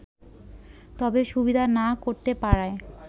তবে সুবিধা না করতে পারায়